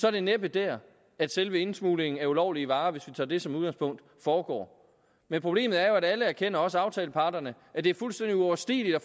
er det næppe der at selve indsmuglingen af ulovlige varer hvis vi tager det som udgangspunkt foregår men problemet er jo at alle erkender også aftaleparterne at det er fuldstændig uoverstigeligt at